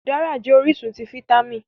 Udárá jẹ́ orísun ti fáítámì